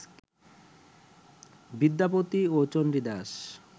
বিদ্যাপতি ও চন্ডীদাস